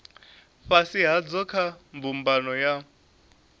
fhasi hadzo kha mbumbano ya